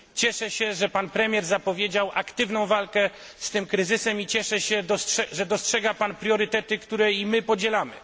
Cieszę się, że pan premier zapowiedział aktywną walkę z tym kryzysem, i cieszę się, że dostrzega pan priorytety, które i my podzielamy.